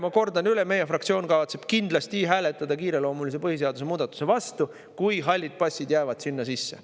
Ma kordan üle, et meie fraktsioon kavatseb kindlasti hääletada põhiseaduse kiireloomulise muudatuse vastu, kui hallid passid jäävad sinna sisse.